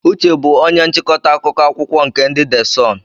Uche bụ onye nchịkọta akụkọ akwụkwọ nke ndị de Sunụ.